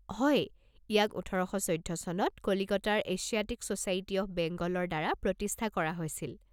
হয়, ইয়াক ওঠৰ শ চৈধ্য চনত কলিকতাৰ এছিয়াটিক ছ'চাইটি অৱ বেংগলৰ দ্বাৰা প্ৰতিষ্ঠা কৰা হৈছিল।